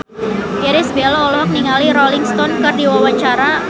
Irish Bella olohok ningali Rolling Stone keur diwawancara